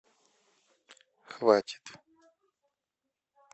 хватит